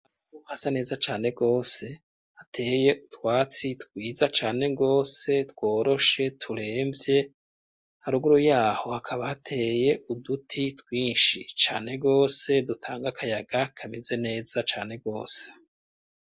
hasa neza cane gose hateye utwatsi twiza cane gose tworoshe turemvye haruguru yaho hakaba hateye uduti twinshi cane gose dutanga akayaga kameze neza cane gose